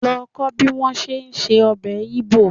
Lọ kó bí wọ́n ṣe ń se ọbẹ̀ Igbo.